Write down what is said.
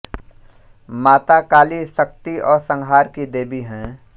माता काली शक्ति और संहार की देवी है